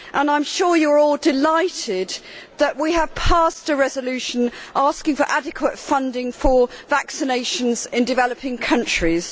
I am sure you are all delighted that we have adopted a declaration asking for adequate funding for vaccinations in developing countries.